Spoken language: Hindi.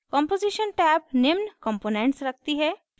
कॉम्पोजीशन टैब्स निम्न components रखती है